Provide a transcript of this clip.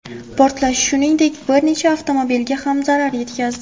Portlash, shuningdek, bir nechta avtomobilga ham zarar yetkazdi.